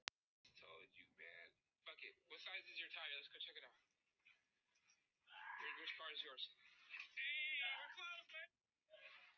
Fólk leit til okkar og stakk saman nefjum.